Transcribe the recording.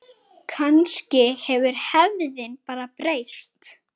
Kannski hefur hefðin bara breyst.